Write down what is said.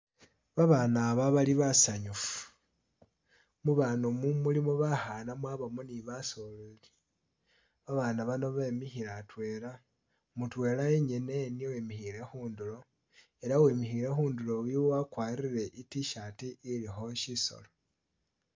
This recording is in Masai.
babana ba bali basanyufu mubana umu bulimo bakhana mwabomo ni basoleli babana bano bemikhile hatwela mutwela yenyene niye wimikhile khutulo ela wemikhile hunduro yu wagwarile itshirt ilikho shisolo.